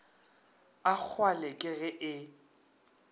a kgwale ke ge e